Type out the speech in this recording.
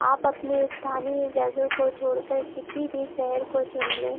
आप अपनी स्थानीय जगह को छोड़कर किसी भी शहर को चुन ले।